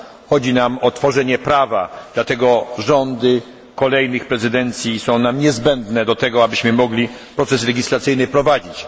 Chodzi o tworzenie prawa, dlatego rządy kolejnych prezydencji są nam niezbędne do tego, abyśmy mogli proces legislacyjny prowadzić.